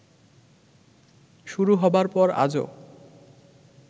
শুরু হবার পর আজও